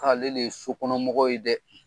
Ale le ye sokɔnɔmɔgɔw ye dɛ.